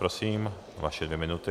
Prosím, vaše dvě minuty.